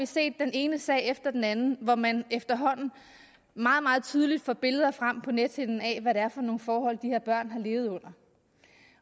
set den ene sag efter den anden hvor man efterhånden meget meget tydeligt får billeder frem på nethinden af hvad det er for nogle forhold de her børn har levet under